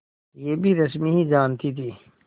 यह भी रश्मि ही जानती थी